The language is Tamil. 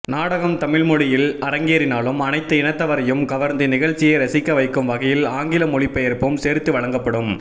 நாடகம் தமிழ்மொழியில் அரங்கேறினாலும் அனைத்து இனத்தவரையும் கவர்ந்து நிகழ்ச்சியை ரசிக்க வைக்கும் வகையில் ஆங்கில மொழிபெயர்ப்பும் சேர்த்து வழங்கப்படும்